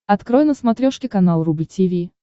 открой на смотрешке канал рубль ти ви